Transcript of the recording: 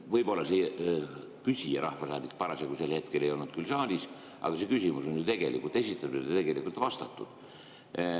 Võib-olla küsinud rahvasaadik sel hetkel ei olnud saalis, aga see küsimus on ju tegelikult esitatud ja vastatud.